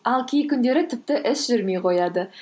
ал кей күндері тіпті іс жүрмей қояды